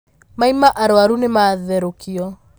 Maĩma arwaru nĩmatherũkio.